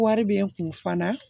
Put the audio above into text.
Wari bɛ n kun fana